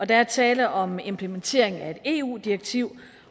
der er tale om implementering af et eu direktiv